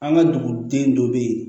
An ka duguden dɔ bɛ yen